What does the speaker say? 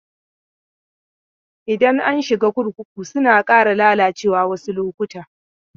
Idan an shiga kurkuku suna ƙara lalacewa wasu lokuta.